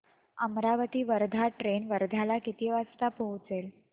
Amravati Wardha train वर्ध्याला किती वाजता पोहचेल